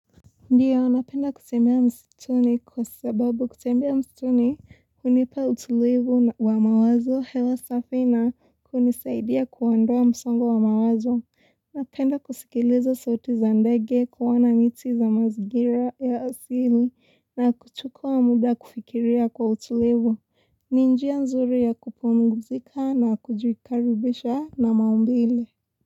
Ndio napenda kutembea msituni kwa sababu kutembea msituni hunipa utulivu wa mawazo, hewa safi na hunisaidia kuondoa msongo wa mawazo. Napenda kusikiliza sauti za ndege, kuona miti za mazingira ya asili na kuchukua muda kufikiria kwa utulivu. Ni njia nzuri ya kupumzika na kujikaribisha na maumbile.